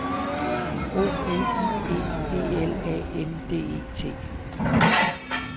O L I E B L A N D E T